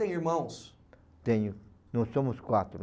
tem irmãos? Tenho, nós somos quatro.